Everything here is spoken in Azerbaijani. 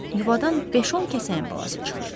Yuvadan beş-on kəsəyən balası çıxır.